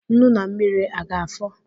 Nnu na mmiri a ga-afọ?